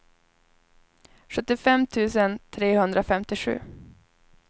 sjuttiofem tusen trehundrafemtiosju